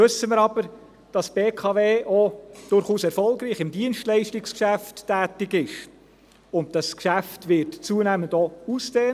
Nun wissen wir aber, dass die BKW durchaus auch im Dienstleistungsgeschäft erfolgreich tätig ist, und dieses Geschäft wird zunehmend auch ausgedehnt.